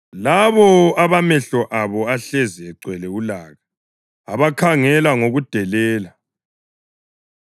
labo abamehlo abo ahlezi egcwele ulaka, abakhangela ngokudelela;